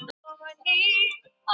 Nær óþekkjanlegur eftir megrunina